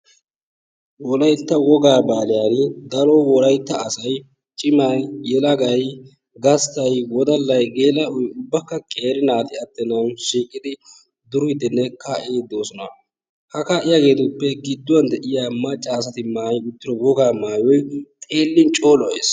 Wolaytta wogaa baazaaree daro wolaytta asayi cimay, yelagey, gasttay. wodallayi, geela7oyi ubbakka qeeri naati attennan shiiqidi duriiddinne kaa7iiddi de7oosona. Ha kaa7iyageetuppe gidduwan de7iya macca asati maayi uttido wogaa maayoti xeellin coo lo7ees.